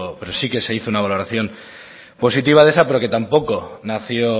pero sí que se hizo una valoración positiva de esa pero que tampoco nació